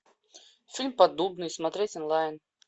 фильм поддубный смотреть онлайн